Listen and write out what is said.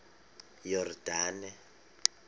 yordane